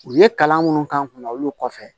U ye kalan minnu k'an kun na olu kɔfɛ